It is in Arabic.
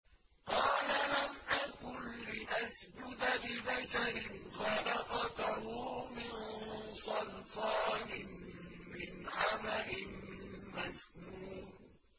قَالَ لَمْ أَكُن لِّأَسْجُدَ لِبَشَرٍ خَلَقْتَهُ مِن صَلْصَالٍ مِّنْ حَمَإٍ مَّسْنُونٍ